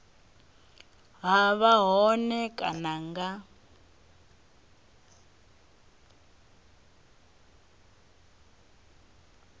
ha vha hone kana nga